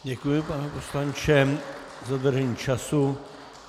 Děkuji, pane poslanče, za dodržení času.